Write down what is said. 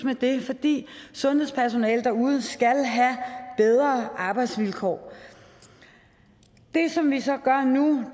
fordi sundhedspersonalet derude skal have bedre arbejdsvilkår det som vi så gør nu